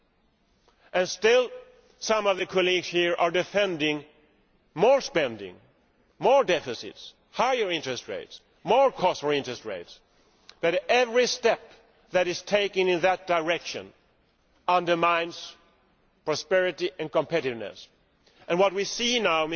Yet still some of the colleagues here are defending more spending, more deficits, higher interest rates, more cost for interest rates, but every step which is taken in that direction undermines prosperity and competitiveness. What we see now